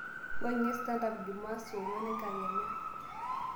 wuangie stand up jumaa saa onguan enkakenya